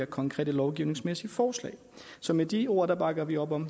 konkrete lovgivningsmæssige forslag så med de ord bakker vi op om